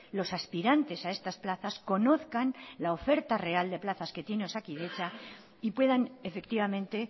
los aspirantes a estas plazas conozcan la oferta real de plazas que tiene osakidetza y puedan efectivamente